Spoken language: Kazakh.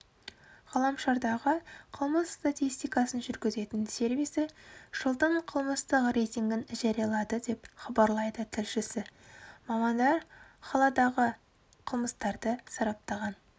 ғаламшардағы қылмыс статистикасын жүргізетін сервисі жылдың қылмыстық рейтингін жариялады деп хабарлайды тілшісі мамандар қаладағы қылмыстарды сараптаған